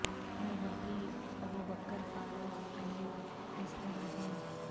میں وہی بو بکر و فاروق و علی عثمان ہوں